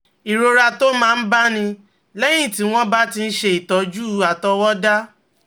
Ìrora tó máa ń báni lẹ́yìn tí wọ́n bá ti ń ṣe ìtọ́jú àtọwọdá